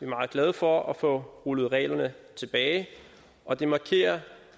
meget glade for at få rullet reglerne tilbage og det markerer